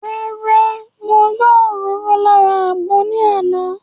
Rárá, mo yọ òróró lára àgbọn ní àná